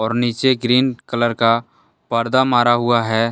नीचे green colour का पर्दा मारा हुआ है।